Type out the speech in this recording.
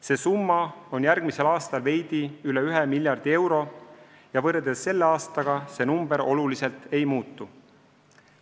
See summa on järgmisel aastal veidi üle ühe miljardi euro ja võrreldes tänavuse aastaga see summa oluliselt ei muutu.